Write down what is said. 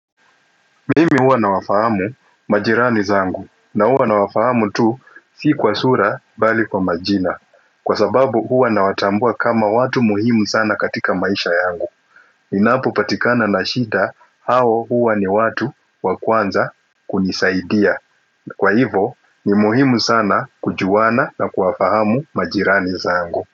Mimi huwa nawafahamu majirani zangu na huwa nawafahamu tu si kwa sura bali kwa majina kwa sababu huwa na watambua kama watu muhimu sana katika maisha yangu ninapopatikana na shida hawa huwa ni watu wakwanza kunisaidia kwa hivo ni muhimu sana kujuana na kuwafahamu majirani zangu.